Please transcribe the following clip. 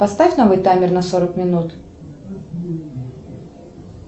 поставь новый таймер на сорок минут